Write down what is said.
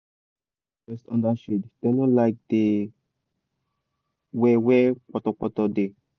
fowl da like rest under shade dem no like da wer wer poto poto da